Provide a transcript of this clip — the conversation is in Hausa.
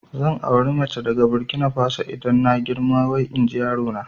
Zan auri mace daga Burkina Faso idan na girma wai inji yarona